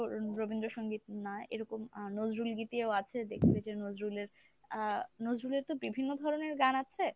রবীন্দ্রসঙ্গীত না এরকম আহ নজরুল গীতিও আছে দেখবে যে নজরুলের আহ নজরুলের তো বিভিন্ন ধরনের গান আছে।